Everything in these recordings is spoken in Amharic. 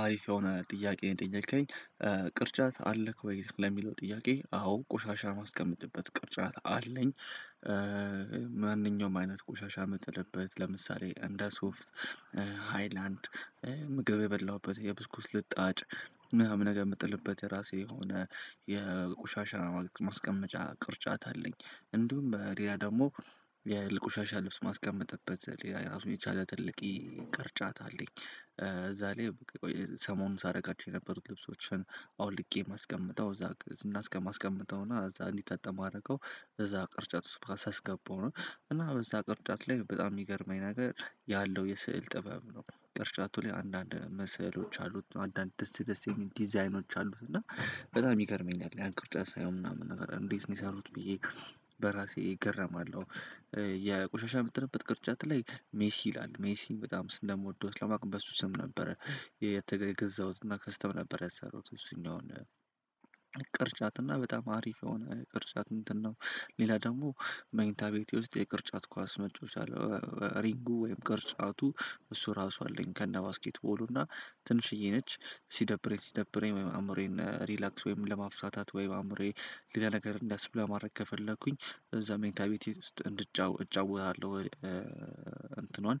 አሪፍ የሆነ ጥያቄ ነው ጠየከኝ ቅርጫት አለክ ወይ ለሚለው ጥያቄ አዎ ቆሻሻ ማስቀመጥበት ቅርጫት አለኝ። ማንኛውም አይነት ቆሻሻ ምጥለበት ለምሳሌ እንደ ሶፍት ሃይላንድ ምግብ የበላሁበት የብስኩት ልጣጭ ምናምን ነገር የምጥልበት የራሴ የሆነ የቆሻሻ ማስቀመጫ ቅርጫት አለኝ። እንዲሁም በሌላ ደግሞ የ ልቆሻሻ ልብስ ማስቀመጥበት ሌላ ራሱን የቻለ ትልቅየ ይቅርጫታ አለኝ። እዛ ላይ በቃ ሰሞኑን ሳደርጋቸው የነበሩት ልብሶችን አውልቄ ማስቀመጥ እዛ እና እስከማስቀምጠው እና እዛ እንዲታጥዕብ ማድረገው እዛ ቅርጫት ውስጥ ሳስገባው ነው። እና በዛ ቅርጫት ላይ በጣም የሚገርመኝ ነገር ያለው የስዕል ጥበብ ነው። ቅርጫቱ ላይ አንዳንድ መስዕሎች አሉት አንዳንድ ደስ ደስ የሚል ዲዛይኖች አሉት። እና በጣም የሚገርመኝ ያለ ያን ቅርጫት ሳየው ምናምን ነገር እንዴት ነው የሰሩት? ብዬ በራሴ እገረማለሁ። የቆሻሻ የምጥልበት ቅርጫት ላይ ሜሲ ይላል ሜሲን በጣም ስለምወደው ለማቅም በሱ ስም ነበረ። የገዛሁትና ከስተመር ነበር ያሰሩት እሱኛውን ቅርጻትና በጣም አሪፍ የሆነ ቅርጭዐት እንትን ነው። ሌላ ደግሞ መኝታ ቤቴ ውስጥ የቅርጫት ኳስ መጮወችሃ አለ። ሪንጉ ወይም ቅርጫቱ እሱ ራሱ አለኝ። ከነ ባስኬትቦሉ እና ትንሽዬ ነች ሲደብረኝ ሲደብረኝ ወይም አእምሮዬን ሪላክስ ወይም ለማፍታታት ወይ አእምሮዬ ሌላ ነገር እንዳስብ ለማድረግ ከፈለኩኝ እዛ ሜንታ ቤቴ ውስጥ እንድጫወት እጫወታለሁ። እንትኗን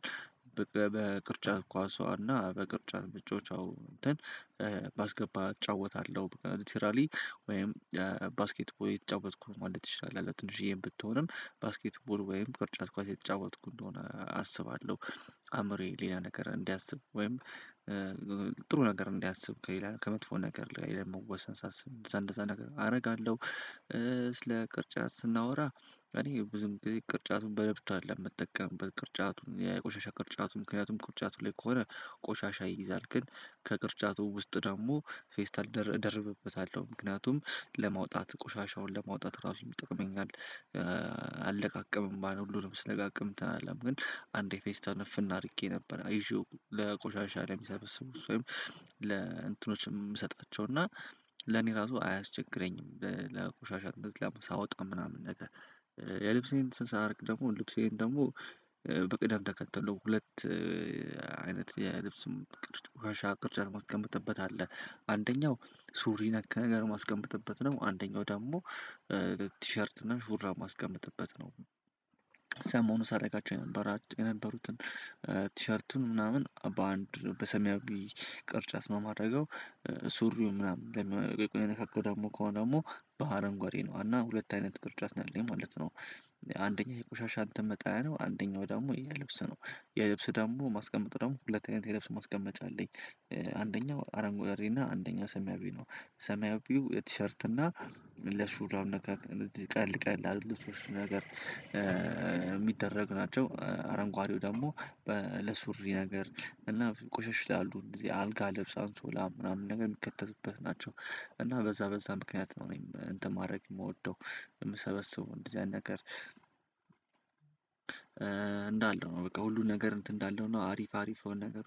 በቃ በቅርጫት ኳሷና በቅርጫት ብጮዋቻ እንትን ባስገባ እጫወታለሁ በቃ ሊትራሊ ወይም ባስኬት ቦይ የተጫወትኩት ማለት ትችላለህ። ትንሽዬም ብትሆንም ባስኬትቦል ወይም ቅርጫት ኳስ የተጫወትኩ እንደሆነ አስባለሁ። አምሮዬ ሌላ ነገር እንዲያስብ ወይም ጥሩ ነገር እንዲያስብ ከሌላ ከመጥፎ ነገር ላይ ለመወሰን ሳስብ እንደዛ እንደዛ አደርጋለሁ። ስለ ቅርጫት ስናወራ እኔ ብዙ ቅርጫቱን በለብት አይደለም መጠቀም ቅርጫቱን የቆሻሻ ቅርጫቱ ምክንያቱም ቅርጫቱ ላይ ከሆነ ቆሻሻ ይይዛል ግን ከቅርጫቱ ውስጥ ደግሞ ፌስታል እደርብበታለሁ ምክንያቱም ለማውጣት ቆሻሻውን ለማውጣት ራሱ የሚጠቅመኝ። አለቃቀም እምባ ነው ሁሉንም ስለጋቀምተናለም ግን አንዴ ፌስተር ነፍን አድርጌ ነበር አይዤው ለቆሻሻ ለሚሰበስቡ እሱ ወይም ለእንትኖችም እሰጣቸው እና ለኔ ራሱ አያስቸግረኝም። ለቆሻሻ ገዝለማ ሳወጣ ምናምን ነገር። የልብሴን ስንሰራ አድርግ ደግሞ ልብሴን ደግሞ በቅደም ተከተለው ሁለት አይነት የልብስም ቅርጫፍ ቅርጫፍ ማስቀመጥበት አለ። አንደኛው ሱሪ ነክ ነገር ማስቀመጥበት ነው። አንደኛው ደግሞ ቲሸርት ሹራብ ማስቀመጥበት ነው። ሰሞኑ ሳደርጋቸው የነበራት የነበሩትን ቲሸርቱን ምናምን በአንድ በሰሚያዊ ቅርጫት ማረገው። ሱሪው ምናምን የቆየ ነካካ ደግሞ ከሆነ ደግሞ በሀረንጓዴ ነው እና ሁለት አይነት ቅርጫት ነው የማለት ነው። አንደኛ የቆሻሻ እንትን መጣያ ነው አንደኛው ደግሞ የልብስ ነው። የልብስ ደግሞ ማስቀመጥ ደግሞ ሁለተኛ የልብስ ማስቀመጥ አለኝ። አንደኛው አረንጓዴና አንደኛው ሰሚያዊ ነው። ሰሚያዊው የቲሸርት እና ለሹራብ ቀልቀል ቀል አረንጓዴው ነገር የሚደረግ ናቸው አረንጓዴው ደግሞ ለሱሪ ነገር እና ቆሸሽታሉ እንደዚህ አልጋ ለብሳን ሶላ ምናምን ነገር የሚከተትበት ናቸው። እና በዛ በዛ ምክንያት ነው እኔም እንትን ማድረግ የምወደው የምሰበስበው እንደዚህ አይነት ነገር እንዳለው ነው። በቃ ሁሉን ነገር እንትን እንዳለው ነው። አሪፍ አሪፍ ነገር